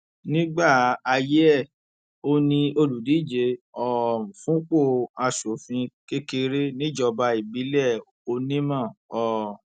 nígbà ayé ẹ òun ni olùdíje um fúnpọ aṣòfin kékeré níjọba ìbílẹ onímọ um